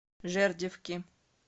жердевки